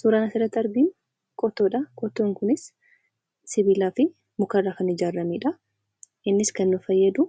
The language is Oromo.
Suuraan asirratti arginu qottoodha. Qottoon kunis sibilaafi mukarra kan ijaaramedha. Innis kan nu fayyadu